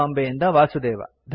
ಬಾಂಬೆಯಿಂದ ವಾಸುದೇವ